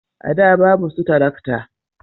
a da babu su tarakta